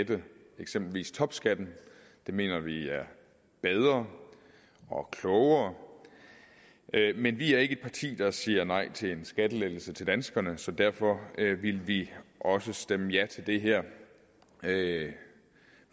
at lette eksempelvis topskatten det mener vi er bedre og klogere men vi er ikke et parti der siger nej til en skattelettelse til danskerne så derfor vil vi også stemme ja til det her